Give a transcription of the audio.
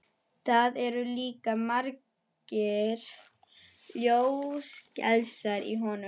Það eru líka margir ljósgeislar í honum.